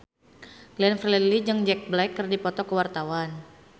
Glenn Fredly jeung Jack Black keur dipoto ku wartawan